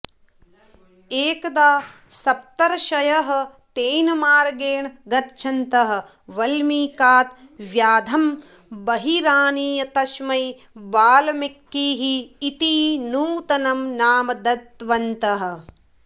एकदा सप्तर्षयः तेन मार्गेण गच्छन्तः वल्मीकात् व्याधं बहिरानीय तस्मै वाल्मीकिः इति नूतनं नाम दत्तवन्तः